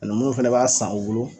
Nunnu fana b'a san u bolo